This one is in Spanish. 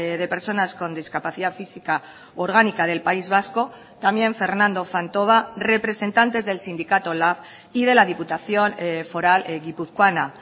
de personas con discapacidad física orgánica del país vasco también fernando fantova representantes del sindicato lab y de la diputación foral guipuzcoana